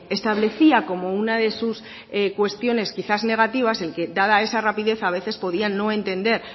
establecía como una de sus cuestiones quizás negativas el que dada esa rapidez a veces podían no entender